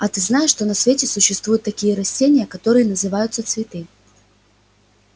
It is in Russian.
а ты знаешь что на свете существуют такие растения которые называются цветы